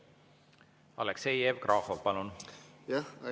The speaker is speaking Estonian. Aleksei Jevgrafov, palun!